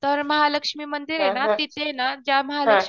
तर महालक्ष्मी मंदिर ये ना तिथे ना ज्या महालक्ष्मी